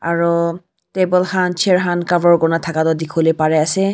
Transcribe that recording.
aru table khan chair khan cover kori na thaka tu dekhi bo pari ase.